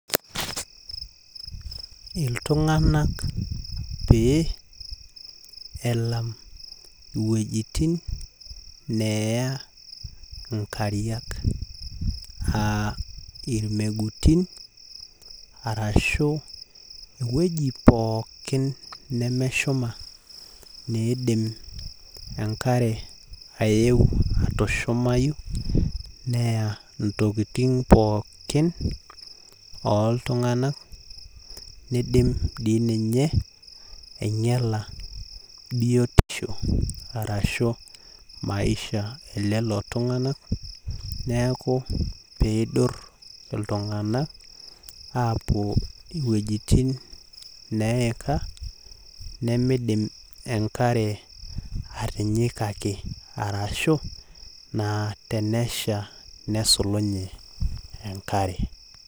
Iltunganak pee elam iwuejitin neya inkariak aa irmegutin arashu ewueji pookin nemeshuma neidim enkare aeu atushumayu neya ntokitin oltunganak , nidim dii ninye ainyiaala biotisho arashu maisha elelo tunganak niaku pidur iltunganak apuo iwuejitin nemidim enkare atinyikaki arashu tenesha nesulunye enkare.